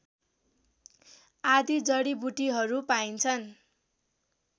आदि जडिबुटीहरू पान्छन्